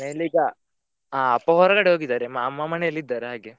ಮನೆಯಲ್ಲಿ ಈಗಾ ಆ ಅಪ್ಪಾ ಹೊರಗಡೆ ಹೋಗಿದ್ದಾರೆ ಅಮ್ಮಾ ಮನೆಯಲ್ಲಿ ಇದ್ದಾರೆ ಹಾಗೆ.